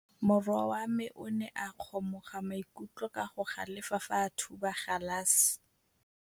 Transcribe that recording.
Morwa wa me o ne a kgomoga maikutlo ka go galefa fa a thuba galase.